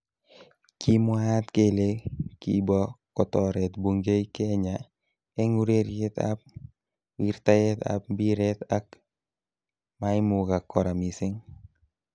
Kimwaat kele kibo kotoret Bungei Kenya eng ureriet ab wirtaet ab mbiret ak maimukak kora missing.